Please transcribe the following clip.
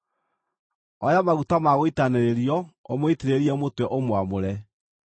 Oya maguta ma gũitanĩrĩrio ũmũitĩrĩrie mũtwe ũmwamũre.